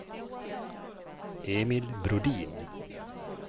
Emil Brodin